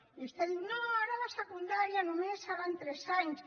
i vostè diu no ara la secundària només seran tres anys